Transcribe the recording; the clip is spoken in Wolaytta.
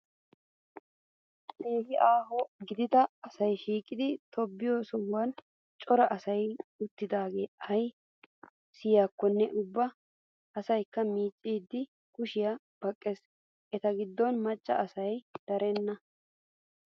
Keehi aaho gidida asayi shiiqidi tobbiyoo sohuwan cora asayi uttidaage ayi siyaakkonne ubba asayikka miicciiddi kushshiyaa baqqes. Eta giddon macca asayi darenna.